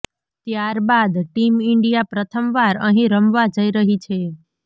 ત્યારબાદ team India પ્રથમવાર અહીં રમવા જઈ રહી છે